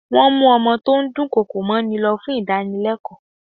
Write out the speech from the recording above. Wọ́n mú ọmọ tó ń dùn kọkò mọ́ ni lọ fún ìgbaninímọ̀ràn.